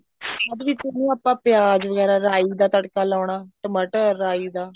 ਬਾਅਦ ਵਿੱਚ ਉਹਨੂੰ ਆਪਾਂ ਪਿਆਜ ਵਗੈਰਾ ਰਾਈ ਦਾ ਤੜਕਾ ਲਾਉਣਾ ਟਮਾਟਰ ਰਾਈ ਦਾ